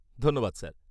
ধন্যবাদ স্যার।